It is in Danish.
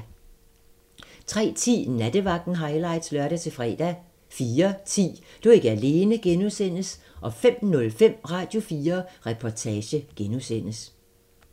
03:10: Nattevagten highlights (lør-fre) 04:10: Du er ikke alene (G) 05:05: Radio4 Reportage (G)